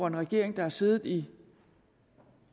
en regering der har siddet i